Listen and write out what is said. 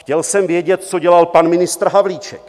Chtěl jsem vědět, co dělal pan ministr Havlíček.